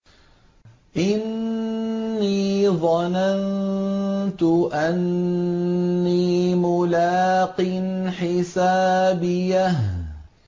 إِنِّي ظَنَنتُ أَنِّي مُلَاقٍ حِسَابِيَهْ